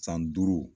San duuru